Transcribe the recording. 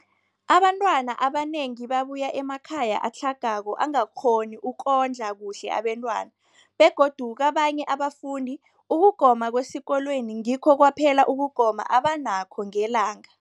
Abantwana abanengi babuya emakhaya atlhagako angakghoni ukondla kuhle abentwana, begodu kabanye abafundi, ukugoma kwesikolweni ngikho kwaphela ukugoma abanakho ngelanga.